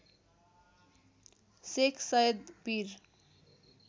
सेख सैयद पिर